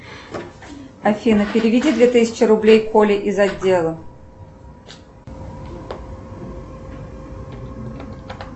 афина переведи две тысячи рублей коле из отдела